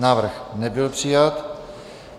Návrh nebyl přijat.